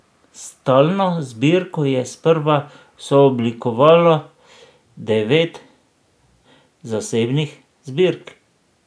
Stalno zbirko je sprva sooblikovalo devet zasebnih zbirk.